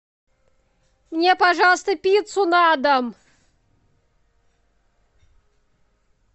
мне пожалуйста пиццу на дом